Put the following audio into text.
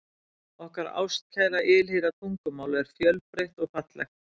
Okkar ástkæra og ylhýra tungumál er fjölbreytt og fallegt.